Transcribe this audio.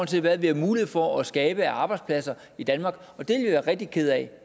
til hvad vi har mulighed for at skabe af arbejdspladser i danmark og det være rigtig kede af